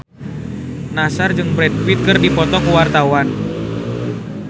Nassar jeung Brad Pitt keur dipoto ku wartawan